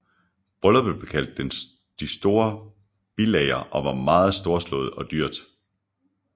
Brylluppet blev kaldt Det store bilager og var meget storslået og dyrt